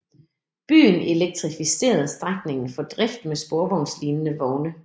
Byen elektrificerede strækningen for drift med sporvognslignende vogne